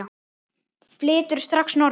Flyturðu strax norður?